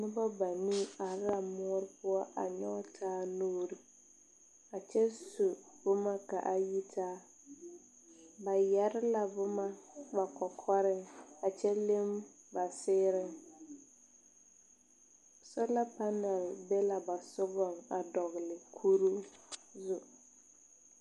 Pɔgba banuu arẽ la moɔ pou a nyuge taa nuuri a kye su buma ka a yi taa ba yere la buma ba kɔkɔri a kye le ba seɛreẽn sola panel bɛ la ba sugu a dɔgli kuru zu.